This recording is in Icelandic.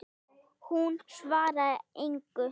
Hún svarar engu.